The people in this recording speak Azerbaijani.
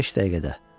Beş dəqiqə.